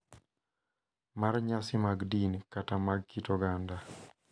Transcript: mar nyasi mag din kata mag kit oganda